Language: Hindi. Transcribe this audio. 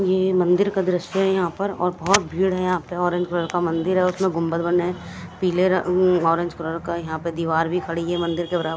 ये मंदिर का दृश्य है यहां पर और बहोत भीड़ है यहां पर ऑरेंज कलर का मंदिर है उसमें गुंबद बने पीले नारंगी कलर का यहां पर दीवार भी खड़ी है मंदिर के बराबर--